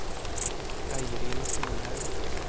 Eirin Solhaug